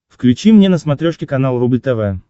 включи мне на смотрешке канал рубль тв